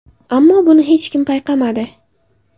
Ammo buni hech kim payqamadi.